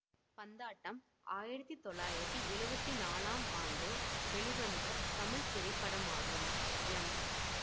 பந்தாட்டம் ஆயிரத்தி தொள்ளாயிரத்தி எழுவத்தி நாலாம் ஆண்டு வெளிவந்த தமிழ் திரைப்படமாகும் எம்